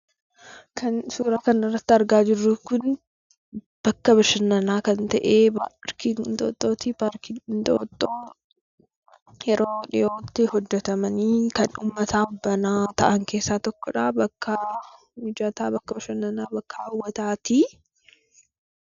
Kan suuraa kanarratti argaa jirru kun, bakka bashannanaa kan ta'e paarkii Inxooxxooti. Paarkiin Inxooxxoo yeroo dhiyootti hojjatamanii kan uummataaf banaa ta'an keessaa tokkodha. Bakka mijataa bashannanaa, bakka hawwataati.